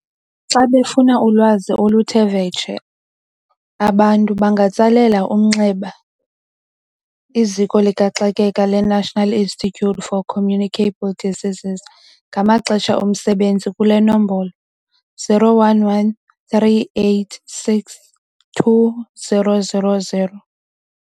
Xa befuna ulwazi oluthe vetshe, abantu bangatsalela umnxeba iZiko likaXakeka leNational Institute For Communicable Diseases, i-NICD, ngamaxesha omsebenzi kule nombolo- 011 386 2000.